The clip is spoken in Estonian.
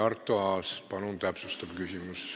Arto Aas, palun täpsustav küsimus!